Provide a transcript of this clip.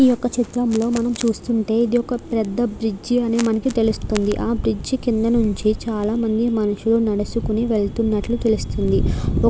ఈ యొక్క చిత్రం లో మనం చూస్తుంటే ఇది ఒక పెద్ద బ్రిడ్జ్ అని మనకి తెలుస్తుంది. ఆ బ్రిడ్జ్ కింద నించి చాలా మంది మనుషులు నడుచుకొని వెలత్తునట్లు తెలుస్తుంది. ఒక --